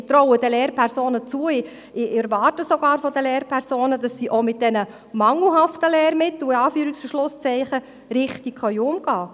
Zudem traue ich den Lehrpersonen zu, ich erwarte sogar von den Lehrpersonen, dass sie auch mit den mangelhaften Lehrmitteln – in Anführungs- und Schlusszeichen – richtig umgehen können.